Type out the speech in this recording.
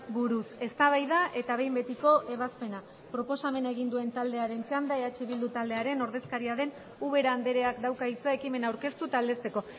buruz eztabaida eta behin betiko ebazpena proposamena egin duentaldearen txanda eh bildu taldearen ordezkaria den ubera andreak dauka hitza ekimena aurkeztu eta aldezteko